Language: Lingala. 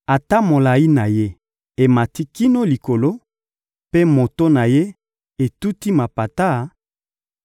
Ata molayi na ye emati kino likolo mpe moto na ye etuti mapata,